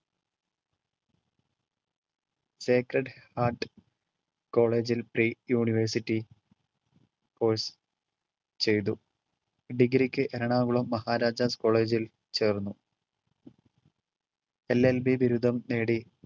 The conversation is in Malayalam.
secred heart college ൽ pre-university course ചെയ്‌തു. degree ക്ക് എറണാകുളം മഹാരാജാസ് college ൽ ചേർന്നു. LLB ബിരുദം നേടി